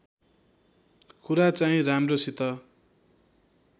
कुरा चाहिँ राम्रोसित